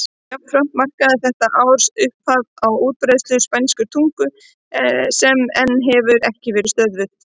Jafnframt markaði þetta ár upphafið á útbreiðslu spænskrar tungu sem enn hefur ekki verið stöðvuð.